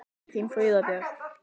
Þín Fríða Björk.